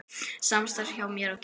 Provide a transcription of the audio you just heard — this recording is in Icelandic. Samstarf hjá mér og Kidda?